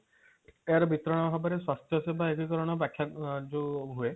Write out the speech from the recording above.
ତାର ବିକରଣ ହେବାରେ ସ୍ୱାସ୍ଥ୍ୟ ସେବା ଏକୀକରଣ ବାଖ୍ୟା ଯୋଉ ହୁଏ